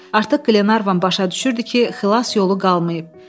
Artıq Qlenarvan başa düşürdü ki, xilas yolu qalmayıb.